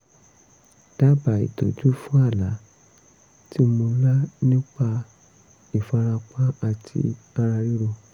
dábàá ìtọ́jú fún àlá tí mo lá nípa ìpalára àti ara ríro